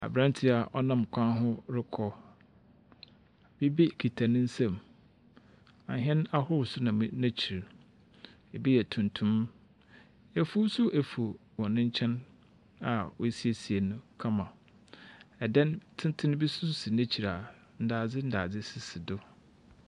Aberanteɛ a ɔnam kwan ho rokɔ. Biribi kita ne nsam. Ahɛn ahorow nso nam n'ekyir. Ebi yɛ tuntum. Afuw nso afuw wɔn nkyɛn a wɔasiesie no kama. Dan tenten bi nso si n'ekyir a ndadze ndaze sisi do.